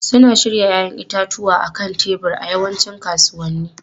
Suna shirya 'ya'yan itatuwa a kan tebur a yawancin kasuwanni.